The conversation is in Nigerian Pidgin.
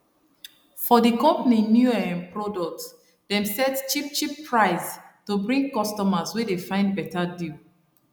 for d company new um product dem set cheapcheap price to bring customers wey dey find better deal